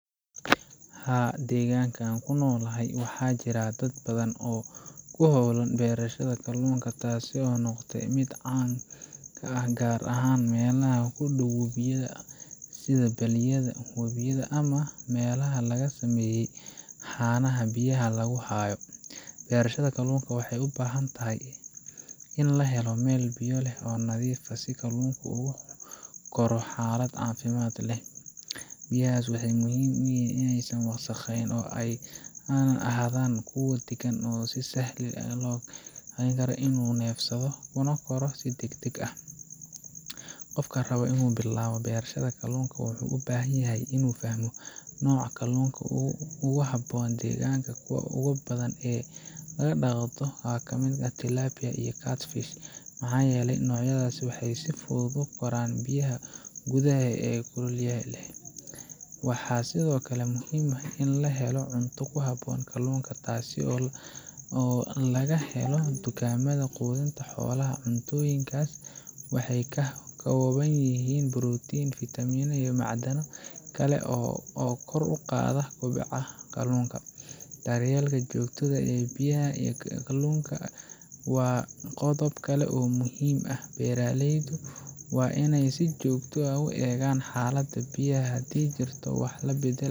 Haa, deegaanka aan ku noolahay waxaa jira dad badan oo ku hawlan beerashada kalluunka taasoo noqotay mid caan ah gaar ahaan meelaha u dhow biyaha sida balliyada, webiyada, ama meelaha laga sameeyey haamaha biyaha lagu hayo. Beerashada kalluunka waxay u baahan tahay in la helo meel biyo leh oo nadiif ah si kalluunka uu ugu koro xaalad caafimaad leh. Biyahaas waxaa muhiim ah in aysan wasaqeyn oo ay ahaadaan kuwo deggan oo u sahli kara kalluunka inuu neefsado kuna koro si degdeg ah. Qofka raba inuu bilaabo beerashada kalluunka wuxuu u baahan yahay inuu fahmo nooca kalluunka ugu habboon deegaanka, kuwa ugu badan ee la dhaqo waxaa ka mid ah Tilapia iyo Catfish maxaa yeelay noocyadaas waxay si fudud ugu koraan biyaha gudaha ah ee kulaylaha leh. Waxaa sidoo kale muhiim ah in la helo cunto ku habboon kalluunka, taas oo laga helo dukaamada quudinta xoolaha, cuntooyinkaas waxay ka kooban yihiin borotiin, fitamiin iyo macdano kale oo kor u qaada kobaca kalluunka. Daryeelka joogtada ah ee biyaha iyo kalluunka waa qodob kale oo muhiim ah, beeraleydu waa in ay si joogto ah u eegaan xaaladda biyaha, haddii ay jirto wax la beddelayo